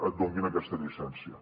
et donin aquesta llicència